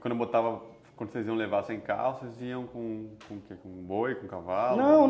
Quando botavam, quando vocês iam levar sem carro, vocês iam com boi, com cavalo? Não...